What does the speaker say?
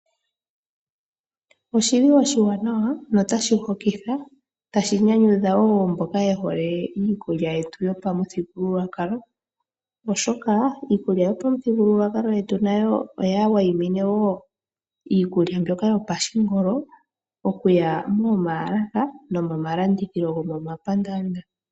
Oshili oshiwanawa notashi hokitha, tashi nyanyudha wo mboka yehole iikulya yetu yomaputhigululwakalo oshoka, Iikulya yomuthigululwakalo oya wayimine wo iikulya yopashingolo okuya momaalaka nomomalanditho gomomapandaanda.